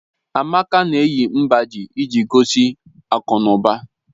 Amaka na-eyi mgbájí iji gosi akụnụba